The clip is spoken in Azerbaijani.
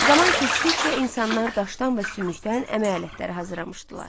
Zaman keçdikcə insanlar daşdan və sümükdən əmək alətləri hazırlamışdılar.